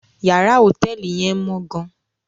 Yàrá hotẹẹli yẹn mọ gàn